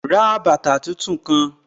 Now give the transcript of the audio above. Ra bàtà tun-tun kan!